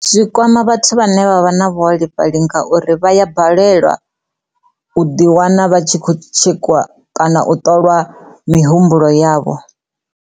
Zwi kwama vhathu vhane vha vha na vhuholefhali ngauri vha ya balelwa uḓi wana vha tshi khou tshekhiwa kana u ṱolwa mihumbulo yavho.